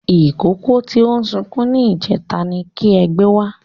Ìkókó tí ó sunkún ní ìjẹta ni kí ẹ gbé wá